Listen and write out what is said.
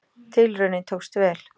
Tilraunin tókst vel.